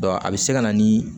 a bɛ se ka na ni